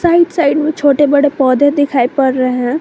Right side में छोटे बड़े पौधे दिखाई पड़ रहे हैं।